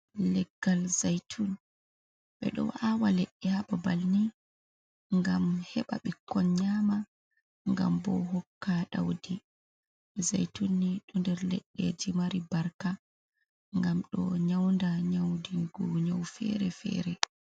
"Leggal zaitun" ɓeɗo awa leɗɗe ha babal ni ngam heɓa ɓikkon nyama ngam bo hokka ɗaudi zaitun ni ɗo nder leɗɗeji mari barka ngam ɗo nyaunda nyaudigo nyau fere fere.